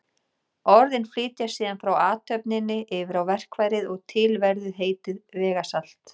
Orðin flytjast síðan frá athöfninni yfir á verkfærið og til verður heitið vegasalt.